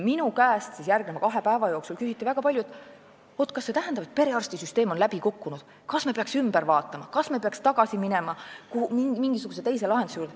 Minu käest küsiti siis järgmise kahe päeva jooksul väga palju, kas see tähendab, et perearstisüsteem on läbi kukkunud, kas me peaks selle üle vaatama, kas me peaks tagasi minema mingisuguse teise lahenduse juurde.